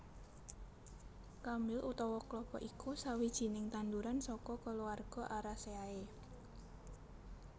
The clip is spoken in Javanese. Krambil utawa klapa iku sawijining tanduran saka kulawarga Arecaceae